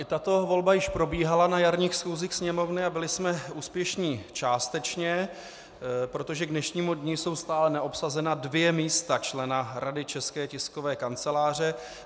I tato volba již probíhala na jarních schůzích Sněmovny a byli jsme úspěšní částečně, protože k dnešnímu dni jsou stále neobsazena dvě místa člena Rady České tiskové kanceláře.